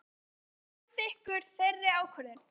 Varst þú samþykkur þeirri ákvörðun?